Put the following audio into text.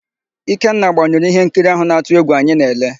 Ikenna gbanyụrụ íhénkiri áhụ̀ na-atụ égwù anyị na-ele.